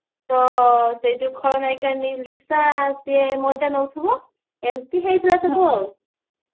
ତ ସେ ଯଉ ଖଳନାୟିକା ଲିସା ସିଏ ମଜା ନଉଥିବା ଏମିତି ହେଇଥିଲା ସବୁ ଆଉ